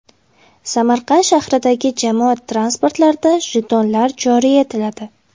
Samarqand shahridagi jamoat transportlarida jetonlar joriy etiladi.